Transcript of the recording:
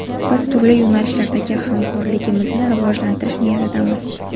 Biz turli yo‘nalishlardagi hamkorligimizni rivojlantirish niyatidamiz”.